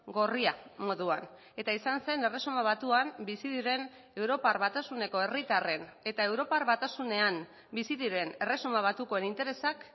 gorria moduan eta izan zen erresuma batuan bizi diren europar batasuneko herritarren eta europar batasunean bizi diren erresuma batukoen interesak